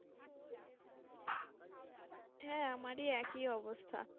হ্যাঁ, আমারি একই অবস্থা।